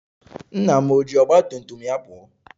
Nna m eji ọgba tum tum ya pụọ?